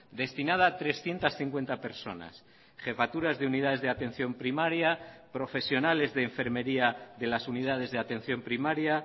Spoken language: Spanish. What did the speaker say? destinada a trescientos cincuenta personas jefaturas de unidades de atención primaria profesionales de enfermería de las unidades de atención primaria